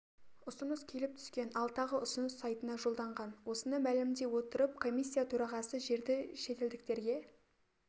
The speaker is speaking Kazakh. ұсыныс келіп түскен ал тағы ұсыныс сайтына жолданған осыны мәлімдей отырып комисия төрағасы жерді шетелдіктерге